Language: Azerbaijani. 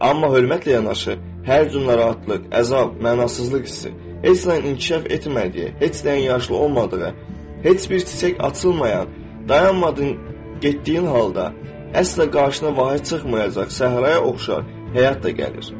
Amma hörmətlə yanaşı, hər cür narahatlıq, əzab, mənasızlıq hissi, heç nəyin inkişaf etmədiyi, heç nəyin yaxşı olmadığı, heç bir çiçək açılmayan, dayanmadın getdiyin halda, əsla qarşına vahid çıxmayacaq səhraya oxşar həyat da gəlir.